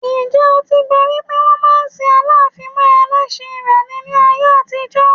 Ǹjẹ́ o ti gbọ rí pé wọ́n máa ń sin Aláàfin mọ ẹlẹ́ṣin rẹ̀ ni ní ayé àtijọ́?